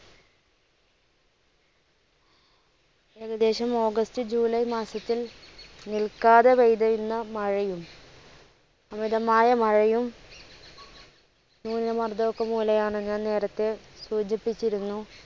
ഏകദേശം August, July മാസത്തിൽ നിൽക്കാതെ പെയ്തിരുന്ന മഴയും അമിതമായ മഴയും, ന്യൂനമർദ്ദവും ഒക്കെ മൂലയാണ് ഞാൻ നേരത്തെ സൂചിപ്പിച്ചിരുന്നു.